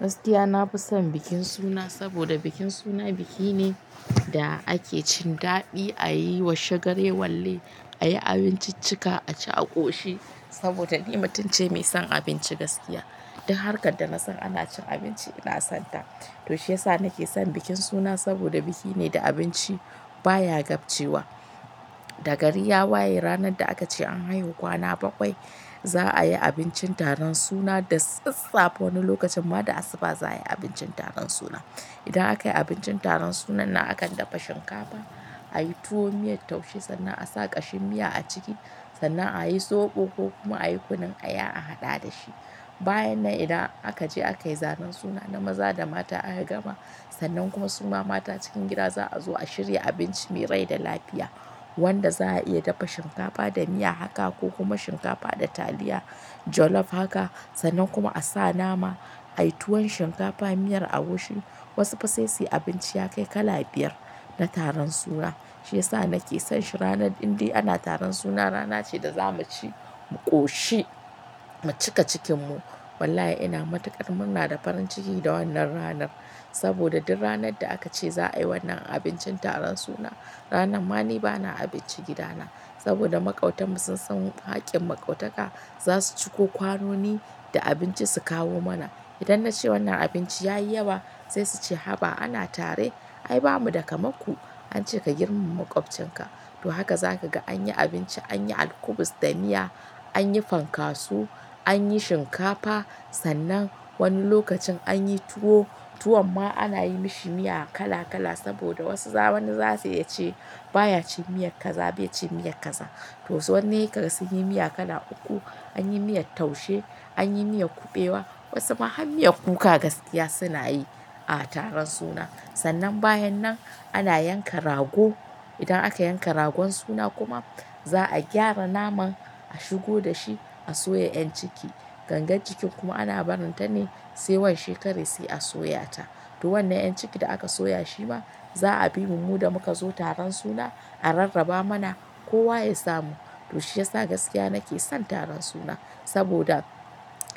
Gaskiya na fi son bikin suna saboda bikin suna biki ne da ake cin daɗi, a yi washagare walle, a yi abinciccika, a ci a ƙoshi saboda ni mutumce mai son abinci gaskiya. Duk harkar da nasan ana cin abinci ina son ta. To shiyasa nake son bikin suna saboda biki ne da abinci baya gabcewa. Da gari ya waye ranar da aka ce an haihu kwana bakwai, za'a yi abincin taron suna da sassafe wani lokacin ma da asuba za'a yi abincin taron suna. Idan aka yi abincin taron sunan na akan dafa shinkafa, a yi tuwo miyar taushe sannan a sa ƙashin miya a ciki sannan a yi soɓo ko kuma a yi kunun aya a haɗa da shi. Bayan nan idan aka je aka yi zanen suna na maza da mata aka gama, sannan ku suma mata cikin gida za'a zo a shirya abinci mai rai da lafiya wanda za'a iya dafa shinkafa da miya haka ko kuma shinkafa da taliya jollof haka sannan kuma a sa nama, a yi tuwon shinkafa miyar agushi. Wasu fa sai suyi abinci ya kai kala biyar na taron suna. Shiyasa nake son shi ranar indai ana taron suna rana ce da za mu ci, mu ƙoshi, mu cika cikin mu. Wallahi ina matuƙar murna da farin ciki da wannan ranar saboda duk ranar da aka ce za'a yi wannan abincin taron suna, ranan ma ni bana abinci gida na saboda maƙautan mu sun san haƙƙin maƙautaka za su ciko kwanoni da abinci su kawo mana. Idan na ce wannan abinci ya yi yawa sai su ce haba ana tare. Ai ba mu da kamar ku ance ka girmama maƙwabcin ka. To haka za ka ga an yi abinci, an yi alkubus da miya, an yi fankaso, an yi shinkafa sannan wani lokacin an yi tuwo. Tuwon ma ana yi mishi miya kala kala saboda wasu wani za su iya ce baya cin miyar kaza bai cin miyar kaza. To wasu ka ga sun yi miya kala uku, an yi miyar taushe, an yi miyar kuɓewa wasu ma har miyar kuka gaskiya suna yi a taron suna. Sannan bayan nan ana yanka rago. Idan aka yanka ragon suna kuma za'a gyara naman a shigo da shi a soya yan ciki. Gangar jikin kuma ana barin ta ne sai washe kare sai a soya ta. To wannan yan cikin da aka soya shi ma za'a bi mu mu da muka zo taron suna a rarraba mana kowa ya samu. To shiyasa gaskiya nake son taron suna saboda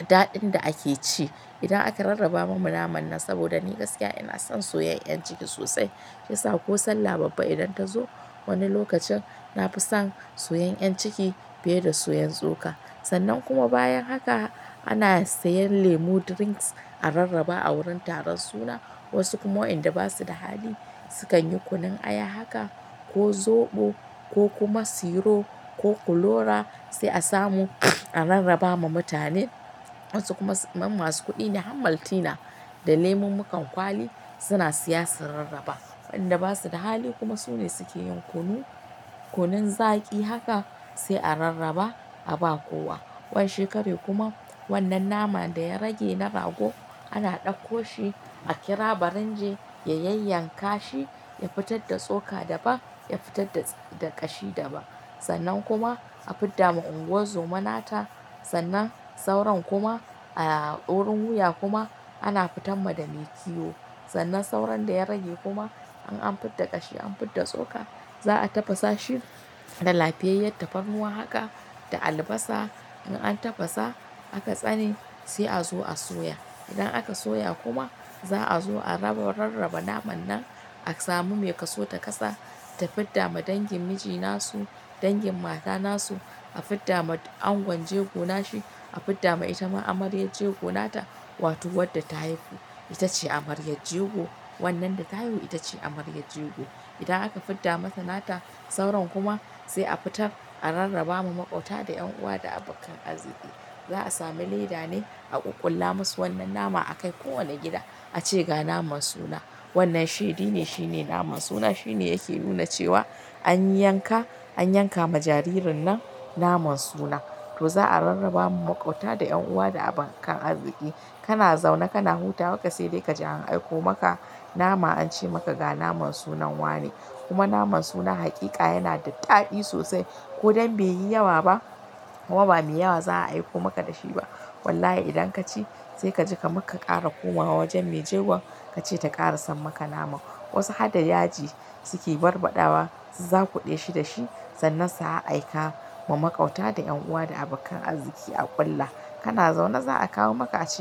daɗin da ake ci. Idan aka rarraba mana naman nan saboda ni gaskiya ina son soya yan ciki sosai. Shiyasa ko sallah babba idan ta zo wani lokacin nafi son soya yan ciki fiye da soyan tsoka. Sannan kuma bayan haka ana siyan lemu drinks a rarraba a wurin taron suna. Wasu kuma wainda basu da hali sukan yi kunun aya haka ko zoɓo ko kuma siro ko kulora sai a samu a rarraba ma mutane. Wasu kuma kaman masu kuɗi har maltina da lemun muƙun kwali suna siya su rarraba. Wadanda basu da hali kuma su ne suke yin kunu, kunun zaki haka sai a rarraba a ba kowa. Wa she kare kuma wannan naman da ya rage na rago ana ɗakko shi a kira baringe ya yanyanka shi, ya fitar da tsoka daban, ya fitar da ƙashi daban. Sannan kuma a fidda ma unguwar zoma nata sannan sauran kuma a wurin wuya kuma ana fitan ma da mai kiwo. Sannan sauran da ya rage kuma in an fidda ƙashi an fidda tsoka za'a tafasa shi da lafiyayyar tafarnuwa haka da albasa. In an tafasa aka tsane sai a zo a soya. Sannan aka soya kuma za'a zo a rarraba naman nan a samu mai kaso ta kasa ta fidda ma dangin mijina su, dangin matana su, a fidda ma angon jego na shi, a fidda ma itama amaryar jego nata wato wadda ta haihu itace amaryar jego. Wannan da ta haihu itace amaryar jego. Idan aka fidda mata nata sauran kuma sai a fitar a rarraba ma maƙauta da 'yan uwa da abokan arziki. Za'a sami leda ne a ƙul kula ma su wannan naman a kai kowane gida a ce ga naman suna. Wannan shi dini shine naman suna shine yake nuna cewa an yanka, an yanka ma jaririn nan naman suna. To za'a rarrabawa makwabta da yan uwa da abokan arziki. Kana zaune kana hutawa ka sai dai ka ji an aiko maka nama an ce maka ga naman sunan wa ne. Kuma naman suna hakika yana da daɗi sosai. Ko dai bai yi yawa ba, ma ba mai yawa za'a aiko maka da shi ba. Wallahi idan ka ci sai ka je kamar ka ƙara komawa wajen mai jegon ka ce ta ƙara san maka naman. Wasu hadda yaji suke barbaɗawa su za ku ɗeshi da shi sannan su a aika ma maƙauta da yan uwa da abokan arziki a ƙulla. Kana zaune za'a kawo maka aciki.